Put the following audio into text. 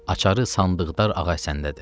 Açarı sandıqdar Ağah Səndədir.